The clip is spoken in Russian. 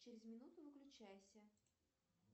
через минуту выключайся